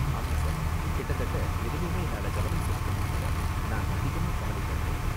ஆமா சார், கிட்டத்தட்ட எதுலயுமே என்னால கவனம் செலுத்த முடியல, நான் அதிகமா கவலப்படறேன்.